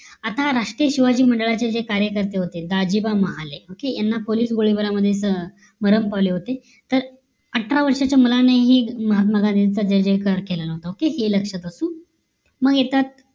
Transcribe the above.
आता राष्ट्रीय शिवाजी मंडळाचे जे कार्यकर्ते होते दाजीबा महाले OKAY यांना पोलीस गोळीबारामध्ये मरण पावले होते तर अठरा वर्ष्याच्या मुलाने हे महात्मा गांधींच्या जय जय कार केलेला होत हे लक्षात असू द्या मग येतात